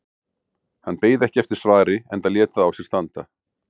Hann beið ekki eftir svari enda lét það á sér standa.